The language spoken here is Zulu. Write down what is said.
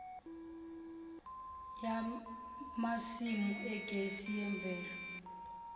yamasimu egesi yemvelo